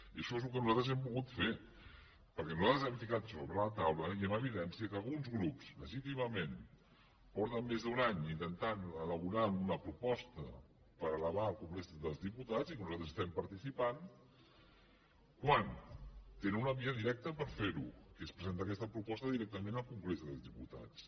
i això és el que nosaltres hem volgut fer perquè nosaltres hem ficat sobre la taula i en evidència que alguns grups legítimament fa més d’un any que intenten elaborar una proposta per elevar al congrés dels diputats i que nosaltres hi estem participant quan tenen una via directa per fer ho que és presentar aquesta proposta directament al congrés dels diputats